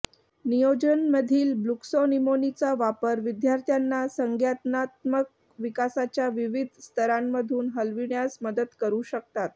नियोजन मधील ब्लूक्सॅनिमोनीचा वापर विद्यार्थ्यांना संज्ञानात्मक विकासाच्या विविध स्तरांमधून हलविण्यास मदत करू शकतात